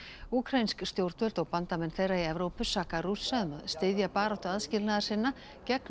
úkraínsk stjórnvöld og bandamenn þeirra í Evrópu saka Rússa um að styðja baráttu aðskilnaðarsinna gegn